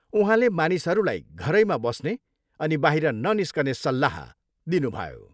उहाँले मानिसहरूलाई घरैमा बस्ने अनि बाहिर ननिस्कने सल्लाह दिनुभयो।